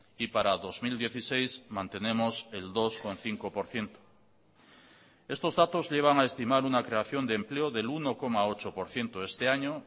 y para dos mil dieciséis mantenemos el dos coma cinco por ciento estos datos llevan a estimar una creación de empleo del uno coma ocho por ciento este año